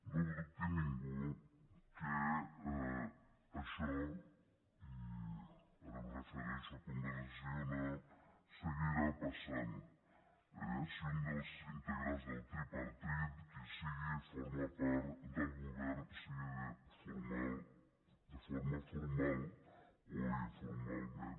no dubti ningú que això i ara em refereixo a convergència i unió seguirà passant si un dels integrants del tripartit qui sigui forma part del govern sigui de forma formal o informalment